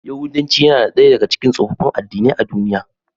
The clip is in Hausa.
Yahudanci yana daya daga cikin tsofaffin addinai a duniya.